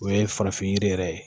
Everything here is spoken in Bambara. O ye farafin yiri yɛrɛ ye